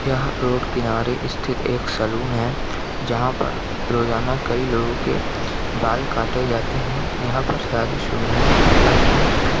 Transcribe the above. यहाँ रोड किनारे स्थित एक सेलून है जहाँ पर रोजाना कई लोगों के बाल काटे जाते है यहाँ पर सारी सुविधाएँ उपलब्ध है।